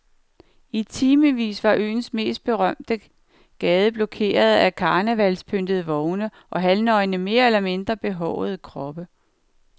I timevis var øens mest berømte gade blokeret af karnevalspyntede vogne og halvnøgne mere eller mindre behårede kroppe.